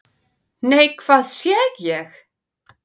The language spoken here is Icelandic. """NEI, HVAÐ SÉ ÉG!"""